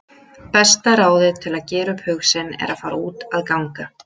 Besta ráðið til að gera upp hug sinn er að fara út að ganga.